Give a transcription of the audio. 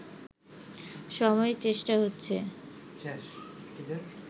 সময়েই চেষ্টা হচ্ছে